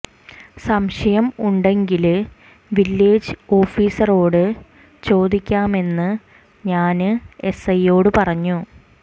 സംശയം ഉണ്ടെങ്കില് വില്ലേജ് ഓഫിസറോട് ചോദിക്കാമെന്ന് ഞാന് എസ് ഐയോടു പറഞ്ഞു